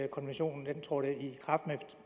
konventionen trådte i kraft men